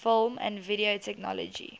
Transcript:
film and video technology